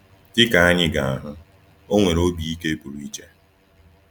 Dị ka anyị ga-ahụ, o nwere obi ike pụrụ iche.